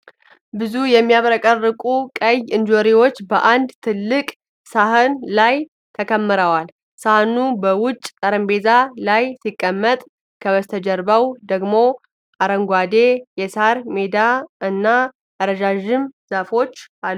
ብዙ የሚያብረቀርቁ ቀይ እንጆሪዎች በአንድ ትልቅ ሳህን ላይ ተከምረዋል። ሳህኑ በውጭ ጠረጴዛ ላይ ሲቀመጥ፣ ከበስተጀርባው ደግሞ አረንጓዴ የሳር ሜዳ እና ረዣዥም ዛፎች አሉ።